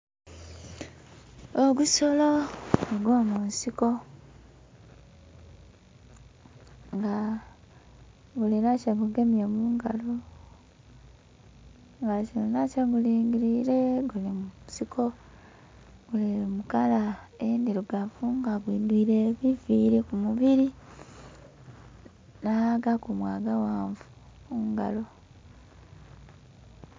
Ogusolo ogwo munsiko nga gulinha kyegugemye mungalo nga gulinha kyegulingirire nga guli mukala endhilugavu nga gwidhwile ebiviili kumubili nha gakumu agaghanvu kungalo.